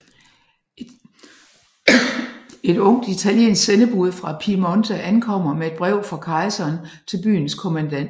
Et ungt italiensk sendebud fra Piemonte ankommer med et brev fra kejseren til byens kommandant